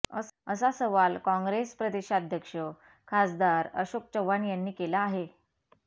असा सवाल काँगेस प्रदेशाध्यक्ष खासदार अशोक चव्हाण यांनी केला आहे